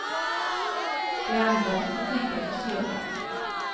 Det andra fick hon tänka på sedan.